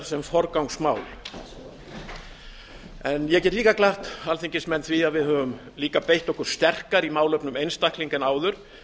sem forgangsmál ég get glatt alþingismenn með því að við höfum líka beitt okkur sterkar í málefnum einstaklinga en áður